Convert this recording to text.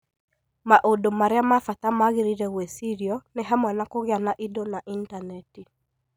Maũndũ marĩa ma bata magĩrĩire gwĩcirio nĩ hamwe na kũgĩa na indo na Intaneti.